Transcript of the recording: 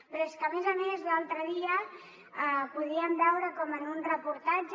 però és que a més a més l’altre dia podíem veure com en un reportatge